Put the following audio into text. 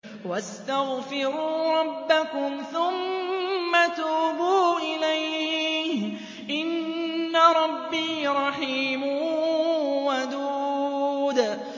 وَاسْتَغْفِرُوا رَبَّكُمْ ثُمَّ تُوبُوا إِلَيْهِ ۚ إِنَّ رَبِّي رَحِيمٌ وَدُودٌ